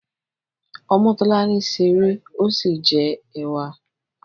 Omotolani ṣeré ọ sí jẹ ẹwà.